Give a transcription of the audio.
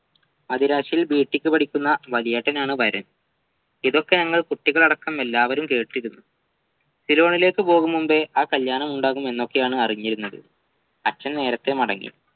അതിരാത്രി BTech പഠിക്കുന്ന വലിയേട്ടനാണ് വരൻ ഇതൊക്കെ ഞങ്ങൾ കുട്ടികളടക്കം എല്ലാവരും കേട്ടിരുന്നു സിലോണിലേക്കുപോകും മുമ്പേ ആ കല്യാണമുണ്ടാകും എന്നൊക്കെയാണ് അറിഞ്ഞിരുന്നത് അച്ഛൻ നേരത്തെ മടങ്ങി